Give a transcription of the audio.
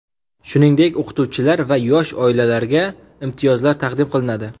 Shuningdek, o‘qituvchilar va yosh oilalarga imtiyozlar taqdim qilinadi.